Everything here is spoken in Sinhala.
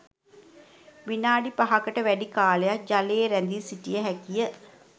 විනාඩි පහකට වැඩි කාලයක් ජලයේ රැඳී සිටිය හැකි ය